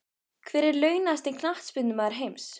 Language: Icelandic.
Hver er launahæsti Knattspyrnumaður heims?